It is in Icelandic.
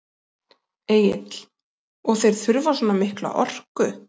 Egill: Og þeir þurfa svona mikla orku?